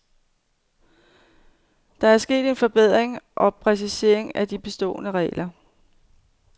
Der er sket en forbedring og præcisering af de bestående regler.